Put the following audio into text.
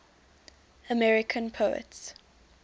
american poets